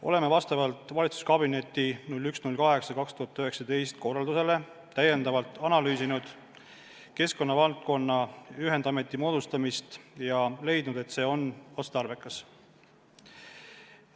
Oleme vastavalt valitsuskabineti 1.08.2019 korraldusele täiendavalt analüüsinud keskkonnavaldkonna ühendameti moodustamist ja leidnud, et see on otstarbekas.